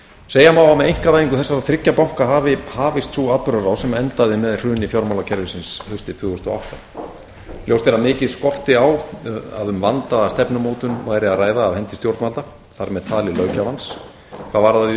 segja má að með einkavæðingu þessara þriggja banka hafi hafist sú atburðarás sem endaði með hruni fjármálakerfisins haustið tvö þúsund og átta ljóst er að mikið skorti á að um vandaða stefnumótun væri að ræða af hendi stjórnvalda þar með talið löggjafans hvað varðaði